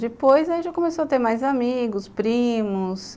Depois aí já começou a ter mais amigos, primos.